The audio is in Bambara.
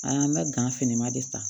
A y'an ka gan fini ma de san